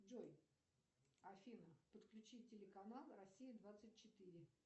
джой афина подключи телеканал россия двадцать четыре